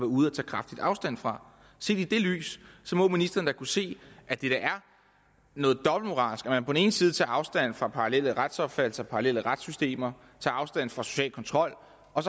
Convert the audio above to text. ude at tage kraftig afstand fra set i det lys må ministeren da kunne se at det er noget dobbeltmoralsk at man på den ene side tager afstand fra parallelle retsopfattelser parallelle retssystemer tager afstand fra social kontrol og